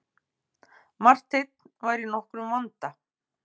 Marteinn var í nokkrum vanda.